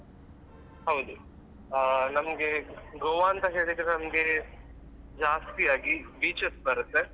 ಹೌದು ಆ ನಮ್ಗೆ Goa ಅಂತ ಹೇಳಿದ್ರೆ ನಮ್ಗೆ ಜಾಸ್ತಿ ಆಗಿ beaches ಬರುತ್ತೆ.